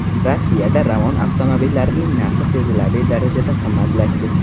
Rossiyada Ravon avtomobillarining narxi sezilarli darajada qimmatlashdi.